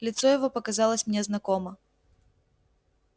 лицо его показалось мне знакомо